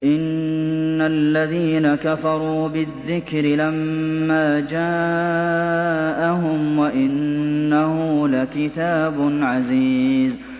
إِنَّ الَّذِينَ كَفَرُوا بِالذِّكْرِ لَمَّا جَاءَهُمْ ۖ وَإِنَّهُ لَكِتَابٌ عَزِيزٌ